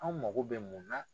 Anw mago bɛ mun na?